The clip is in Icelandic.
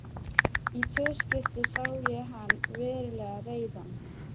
Í tvö skipti sá ég hann verulega reiðan.